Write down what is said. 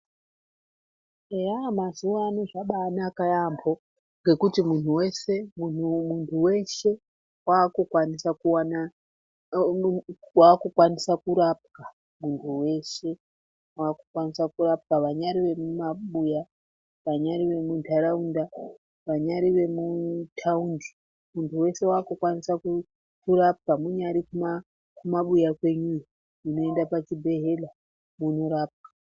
Eya mazuwano zvabanaka yaamho ngekuti munhu weshe wakukwanisa kurapwa munhu weshe wakukwanisa kurapwa vanyari vemumabuya, vanyari vemuntaraunda vanyari vemutaundi munhu weshe wakukwanisa kurapwa munyari kumabuya kwenyuyo unoenda pachibhedhlera wondorapwa.